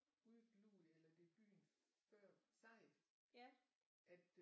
Ude i Glud eller det er byen før Sejet at øh